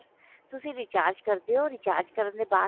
ਤੁਸੀਂ recharge ਕਰਦੇ ਹੋ recharge ਕਰਨ ਤੋਂ ਬਾਅਦ